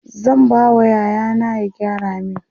zan ba wa yaya na ya gyara min